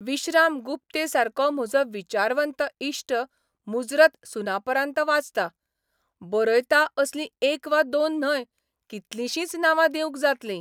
विश्राम गुप्तेसारको म्हजो विचारवंत इश्ट मुजरत सुनापरान्त वाचता, बरयता असलीं एक वा दोन न्हय, कितलशींच नांवां दिवंक जातली.